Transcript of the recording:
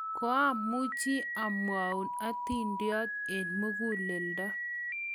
koamuchi amwou atindiot eng' muguleldo